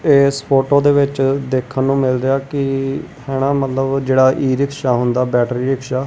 ਇਸ ਫੋਟੋ ਦੇ ਵਿੱਚ ਦੇਖਣ ਨੂੰ ਮਿਲ ਰਿਹਾ ਕੀ ਹੈ ਨਾ ਮਤਲਬ ਜਿਹੜਾ ਈ-ਰਿਕਸ਼ਾ ਹੁੰਦਾ ਬੈਟਰੀ ਰਿਕਸ਼ਾ ।